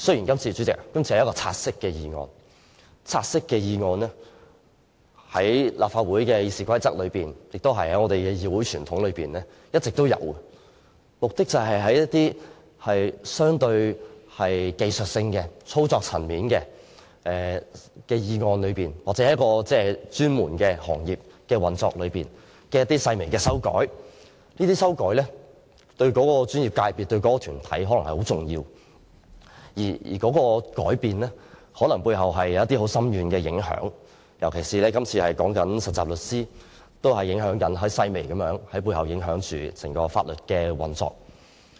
代理主席，原本要討論的是一項"察悉議案"，在立法會的《議事規則》和議會傳統中一直存在，是相對技術性、操作層面的議案，目的是對某專門行業的運作作出一些細微的修改，而有關修改對該專業界別或團體可能非常重要，甚至有可能造成很深遠的影響，例如這次所討論有關實習律師的附屬法例，正是涉及很細微的修改，但卻會影響整個法律界的運作。